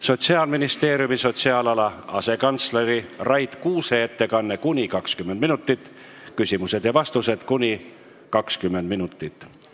Sotsiaalministeeriumi sotsiaalala asekantsleri Rait Kuuse ettekanne, mis kestab kuni 20 minutit, ning küsimused ja vastused, mis kestavad kuni 20 minutit.